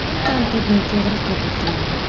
Men tanqidni to‘g‘ri qabul qilaman.